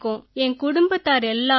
என் குடும்பத்தார் எல்லாரும்